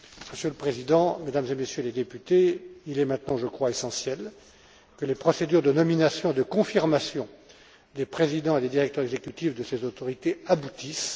Monsieur le Président, Mesdames et Messieurs les députés, il est maintenant essentiel que les procédures de nomination, de confirmation des présidents et des directeurs exécutifs de ces autorités aboutissent.